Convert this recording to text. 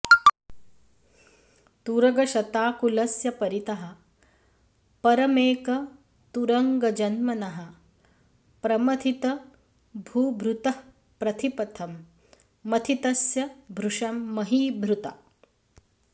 तुरगशताकुलस्य परितः परमेकतुरङ्गजन्मनः प्रमथितभूभृतः प्रतिपथं मथितस्य भृशं महीभृता